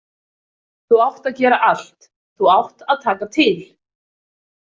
Þú átt að gera allt, þú átt að taka til.